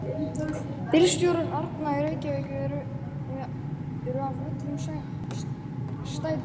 Bílstjórar Árna í Reykjavík eru af öllum stéttum.